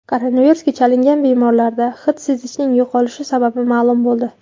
Koronavirusga chalingan bemorlarda hid sezishning yo‘qolishi sababi ma’lum bo‘ldi.